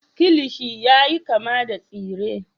kilishi yayi kama da tsire